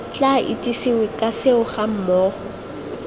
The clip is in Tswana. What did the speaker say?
tla itsesewe ka seo gammogo